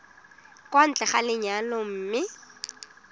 kwa ntle ga lenyalo mme